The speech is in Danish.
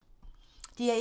DR1